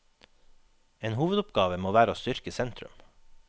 En hovedoppgave må være å styrke sentrum.